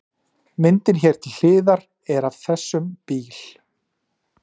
Myndin hér til hliðar er af þessum bíl.